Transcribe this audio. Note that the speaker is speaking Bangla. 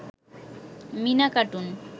মিনা কাটুন